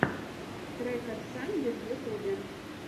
трек эс санди в ютюбе